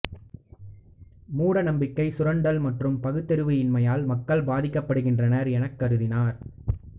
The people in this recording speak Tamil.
மூடநம்பிக்கை சுரண்டல் மற்றும் பகுத்தறிவு இன்மையால் மக்கள் பாதிக்கப்படுகின்றனர் எனக்கருதினார்